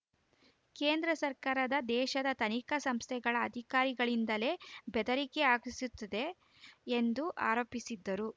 ಕೇಂದ್ರ ಸರ್ಕಾರ ದೇಶದ ತನಿಖಾ ಸಂಸ್ಥೆಗಳ ಅಧಿಕಾರಿಗಳಿಂದಲೇ ಬೆದರಿಕೆ ಹಾಕಿಸುತ್ತಿದೆ ಎಂದು ಆರೋಪಿಸಿದರು